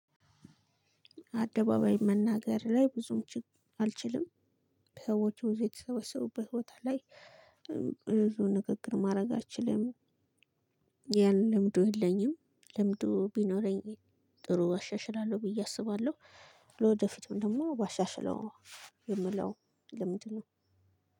አደባባይ መናገር ላይ ብዙም ችግ አልችልም። ሰዎች ብዙ የተሰበሰቡበት ቦታ ላይ ንግግር ማድረግ አልችልም። ያን ልምዱ የለኝም ልምዱ ቢኖረኝ ጥሩ አሻሽላለው ብዬ አስባለሁ። ለወደፊቱም ደግሞ ባሻሽለው የምለው ልምንድ ነው።